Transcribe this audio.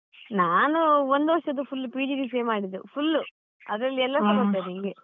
ನಾನು ಒಂದು ವರ್ಷದ್ದು full PGDCA ಮಾಡಿದ್ದು full ಅದ್ರಲ್ಲಿ ಎಲ್ಲಸ ಬರ್ತದೆ ಹೀಗೆ.